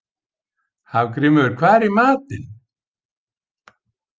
Hafgrímur, hvað er í matinn?